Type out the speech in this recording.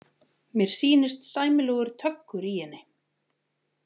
Mér sýnist sæmilegur töggur í henni.